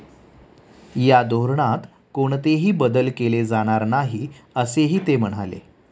या धोरणात कोणतेही बदल केले जाणार नाही, असेही ते म्हणाले.